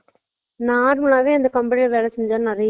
இந்த மாதிரி heat problem வந்து அதுக்கு தனிய